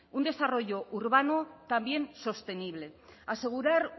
un desarrollo urbano también sostenible asegurar